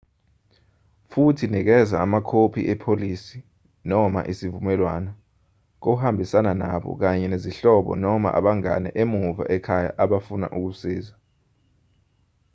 futhi nikeza amakhophi epolisi/isivumelwano kohambisana nabo kanye nezihlobo noma abangane emuva ekhaya abafuna ukusiza